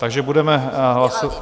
Takže budeme hlasovat...